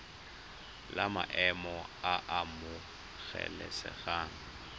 la maemo a a amogelesegang